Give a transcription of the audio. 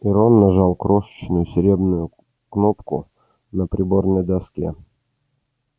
и рон нажал крошечную серебряную кнопку на приборной доске